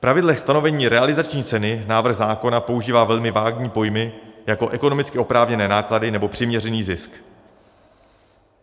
V pravidlech stanovení realizační ceny návrh zákona používá velmi vágní pojmy, jako ekonomicky oprávněné náklady nebo přiměřený zisk.